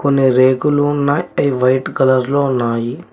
కొన్ని రేకులు ఉన్నాయ్ అవి వైట్ కలర్ లో ఉన్నాయి.